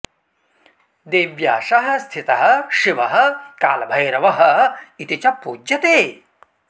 देव्या सह स्थितः शिवः कालभैरवः इति च पूज्यते